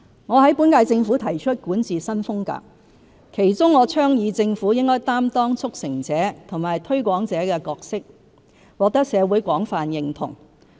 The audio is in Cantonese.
我在本屆政府提出管治新風格，其中我倡議政府應擔當"促成者"和"推廣者"的角色，獲得社會廣泛認同。